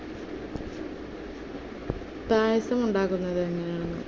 പായസം ഉണ്ടാക്കുന്നത് എങ്ങനെയാണെന്ന്